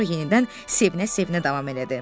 Sonra yenidən sevinə-sevinə davam elədi.